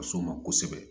Ka so ma kosɛbɛ